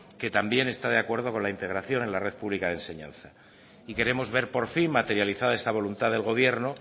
que también está de acuerdo con la integración en la red pública de enseñanza y queremos ver por fin materializada esta voluntad del gobierno